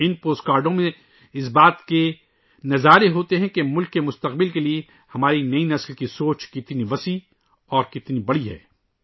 یہ postcard اس بات کی عکاسی کرتے ہیں کہ ملک کے مستقبل کے لئے ہماری نئی نسل کا ویژن کتنا وسیع اور کتنا بڑا ہے